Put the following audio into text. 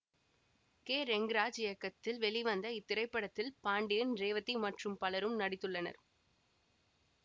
K Rengaraj இயக்கத்தில் வெளிவந்த இத்திரைப்படத்தில் பாண்டியன் ரேவதி மற்றும் பலரும் நடித்துள்ளனர்